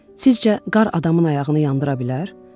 Sizcə qar adamın ayağını yandıra bilər?